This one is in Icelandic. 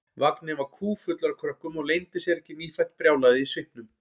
Vagninn var kúffullur af krökkum og leyndi sér ekki nýfætt brjálæðið í svipnum.